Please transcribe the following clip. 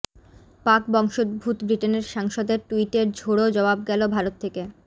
পাক বংশোদ্ভূত ব্রিটেনের সাংসদের টুইটের ঝোড়ো জবাব গেল ভারত থেকে